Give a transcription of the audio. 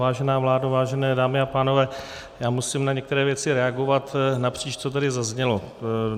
Vážená vládo, vážené dámy a pánové, já musím na některé věci reagovat napříč, co tady zaznělo.